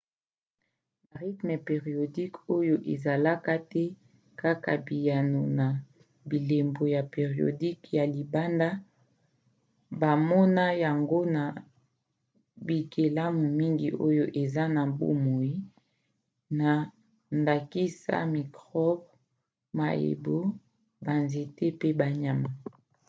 barythmes périodiques oyo ezalaka te kaka biyano na bilembo ya périodiques ya libanda bamona yango na bikelamu mingi oyo eza na bomoi na ndakisa mikrobe mayebo banzete mpe banyama